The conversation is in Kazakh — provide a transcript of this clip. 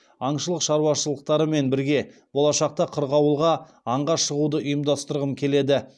аңшылық шаруашылықтарымен бірге болашақта қырғауылға аңға шығуды ұйымдастырғым келеді